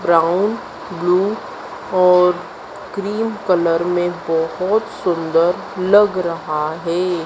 Brown blue और cream colour में बहोत सुंदर लग रहा है।